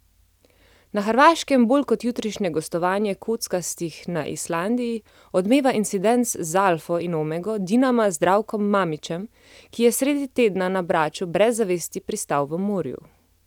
Na Hrvaškem bolj kot jutrišnje gostovanje kockastih na Islandiji odmeva incident z alfo in omego Dinama Zdravkom Mamićem, ki je sredi tedna na Braču brez zavesti pristal v morju.